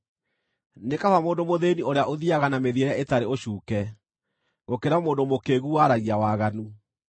Nĩ kaba mũndũ mũthĩĩni ũrĩa ũthiiaga na mĩthiĩre ĩtarĩ ũcuuke, gũkĩra mũndũ mũkĩĩgu waragia waganu.